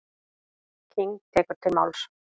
King tekur til máls.